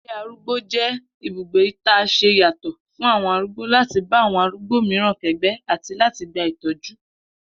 Ilé arúgbó jé̩ ibùgbé ta s̩e yàtò̩ fún àwo̩n arúgbó láti bá awo̩n arúgbó mìíràn ké̩gbé̩ àti láti gba ìtó̩jú